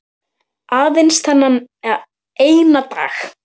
Aðeins þennan eina dag!